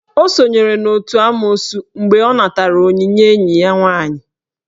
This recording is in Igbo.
O sonyere n'otu n'amoosu mgbe ọ natara onyinye enyi ya nwaanyị.